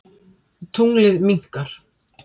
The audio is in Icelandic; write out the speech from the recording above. Tunglið minnkar.